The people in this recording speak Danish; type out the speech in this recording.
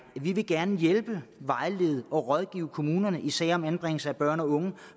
at vi gerne vil hjælpe vejlede og rådgive kommunerne i sager om anbringelse af børn og unge